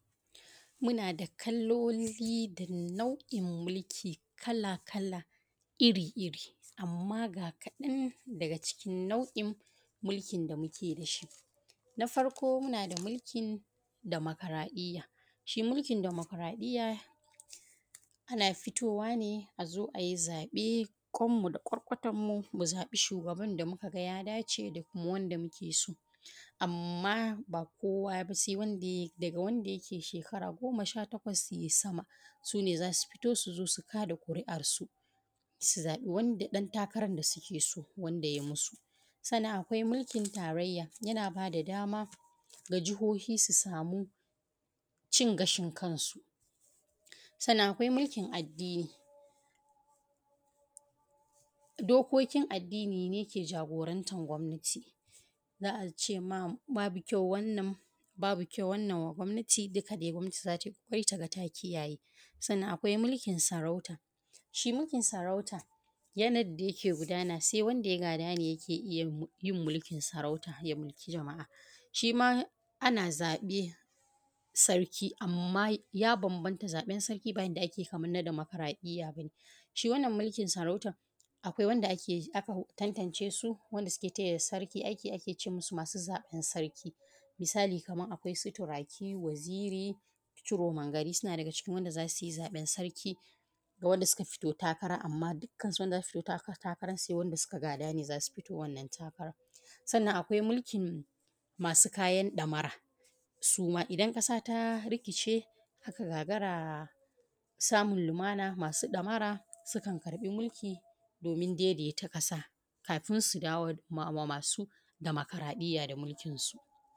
Muna da kaloli da nau’in mulki kala-kala, ir-iri anma ga kaɗan daga nau’in mulkin da muke da su na farko muna da mulki dimokraɗiya shi mulkin demukraɗiyya, ana fitowa ne a zo a yi zaɓe kwanmu da kwarkwatanmu mu zaɓi shugaban da muka ga ya dace ma wanda muke so. Amma ba kowa daga wanda ya kai shi kara, sha takwas yay sama su ne za su fito su zo su kaɗa ƙuri’ansu su zaɓa ɗantakaran da suke so, yay musu sannan akwai mulki tarayya dama na jihohi su sama cin gashin kansu. Sannan akwai mulkin addini, dokokin addini ne ke jagorancin gwamnati za a ce ma babu kyau wannan babu kyau wannan ma gwamnati don kaɗai gwamnati za tai ƙoƙarin ta kare shi sannan akwai mulkin sarauta, shi mulkin sarauta yanayin da yake gudana su wanda ya gada ne yake iya yin mulkin sarauta, ya mulki jama’a shima ana zaɓen sarki, amma ya bambanta zaɓen sarki ba kalan na demukraɗiyya ba ne, shi wannan mulkin sarautan akwai wanda aka tantance su wanda suke taya sarki aiki, ake ce musu masu zaɓan sarki misali kaman akwai su Turaki, Waziri, Ciroman gari na cikin wanda za su yi zaɓen Sarki ga wanda suka fito takara. Amma duka wanda za su fito takaran wanda suka gada ne za su fito wannan takara, sannan akwai mulkin masu kayan ɗamara idan ƙasa ta rikice ta gagara samun limana, masu ɗamara sukan amshi mulki domin daidaita ƙasa domin su dawo wa masu dimukraɗiyya da mulkinsu.